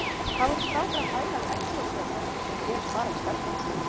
Hvað voru strákar að pæla í egglosi og þessu sem gerist bara í stelpum!